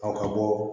Ɔ ka bɔ